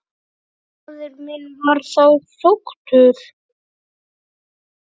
Faðir minn var þá sóttur.